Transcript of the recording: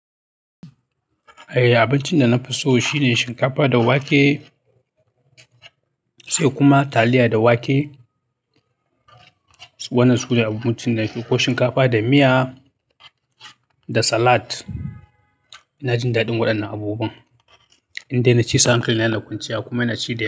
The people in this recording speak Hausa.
Eh, abincin da na fi so shine shinkafa da wake, sai kuma taliya da wake. Wannan su ne abincin da na fi so, ko shinkafa da miya da salad. Ina jin daɗin waɗannan abubuwa. Indai na ci su hankali na yana kwanciya kuma yana ci da.